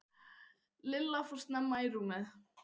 Lilla fór snemma í rúmið.